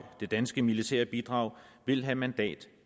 det danske militære bidrag vil have mandat